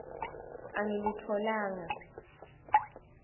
angilitfolanga